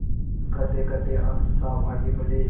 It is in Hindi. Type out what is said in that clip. कहतेकहते आनन्द साहब आगे बढ़े